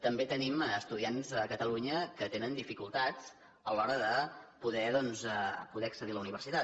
també tenim estu·diants a catalunya que tenen dificultats a l’hora de po·der doncs accedir a la universitat